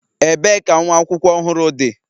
ebee ka nwa akwụkwọ ohuru di?